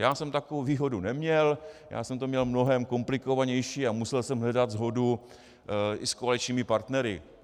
Já jsem takovou výhodu neměl, já jsem to měl mnohem komplikovanější a musel jsem hledat shodu i s koaličními partnery.